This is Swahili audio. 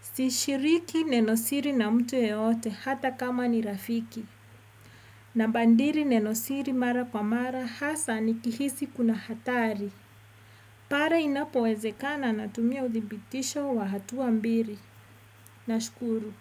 Sishiriki nenosiri na mtu yeyote hata kama ni rafiki. Nabadili nenosiri mara kwa mara hasa nikihisi kuna hatari. Pale inapowezekana natumia uthibitisho wa hatua mbili. Nashukuru.